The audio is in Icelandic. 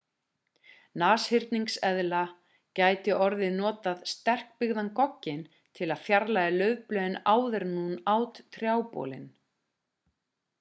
nashyrningseðla gæti hafa notað sterkbyggðan gogginn til að fjarlægja laufblöðin áður en hún át trjábolinn